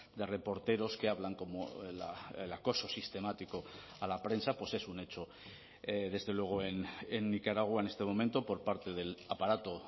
de reporteros que hablan cómo el acoso sistemático a la prensa pues es un hecho desde luego en nicaragua en este momento por parte del aparato